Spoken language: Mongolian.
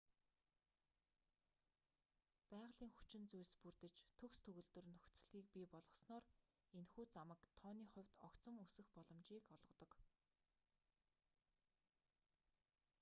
байгалийн хүчин зүйлс бүрдэж төгс төгөлдөр нөхцөлийг бий болгосноор энэхүү замаг тооны хувьд огцом өсөх боломжийг олгодог